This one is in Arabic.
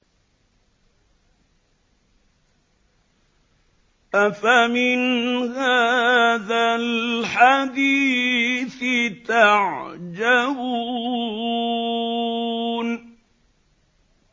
أَفَمِنْ هَٰذَا الْحَدِيثِ تَعْجَبُونَ